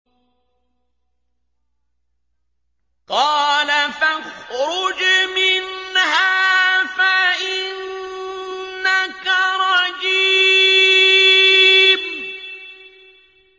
قَالَ فَاخْرُجْ مِنْهَا فَإِنَّكَ رَجِيمٌ